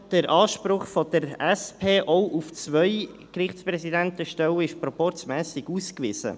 Der Anspruch der SP auf zwei Gerichtspräsidentenstellen ist proporzmässig ausgewiesen.